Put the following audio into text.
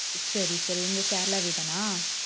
சரி சரி எங்க கேரளாவவேதானா